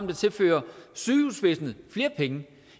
der tilfører sygehusvæsenet flere penge